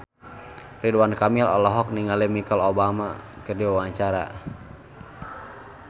Ridwan Kamil olohok ningali Michelle Obama keur diwawancara